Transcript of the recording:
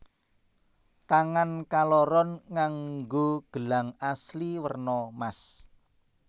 Tangan kaloron nganggo gelang asli werna mas